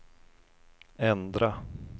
ändra